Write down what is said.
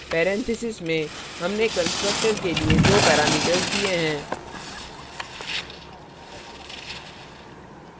parenthesis में हमने constructor के लिए दो parameters दिए हैं